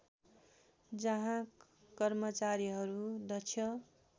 जहाँ कर्मचारीहरू दक्ष